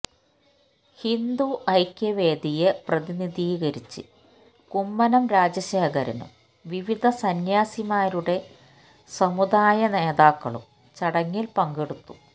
ഹിന്ദു ഐക്യവേദിയെ പ്രതിനിധീകരിച്ച് കുമ്മനം രാജശേഖരനും വിവിധ സന്യാസിമാരുടെ സമുദായനേതാക്കളും ചടങ്ങിൽ പങ്കെടുത്തു